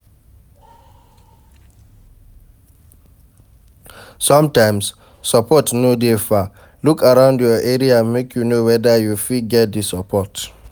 Sometimes, support no de dey far, look around your area make you know weda you fit get di support